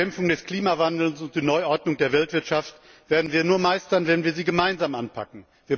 Die Bekämpfung des Klimawandels und die Neuordnung der Weltwirtschaft werden wir nur meistern, wenn wir sie gemeinsam anpacken.